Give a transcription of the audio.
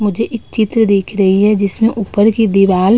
मुझे एक चित्र दिख रही है जिसमें ऊपर की दिवाल --